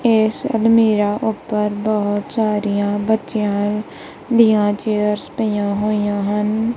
ਇਸ ਅਲਮੀਰਾ ਉੱਪਰ ਬਹੁਤ ਸਾਰੀਆਂ ਬੱਚਿਆਂ ਦੀਆਂ ਚੇਅਰਸ ਪਈਆਂ ਹੋਈਆਂ ਹਨ।